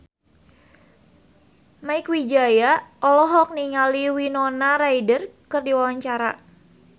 Mieke Wijaya olohok ningali Winona Ryder keur diwawancara